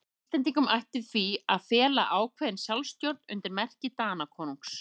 Íslendingum ætti því að fela ákveðna sjálfstjórn undir merki Danakonungs.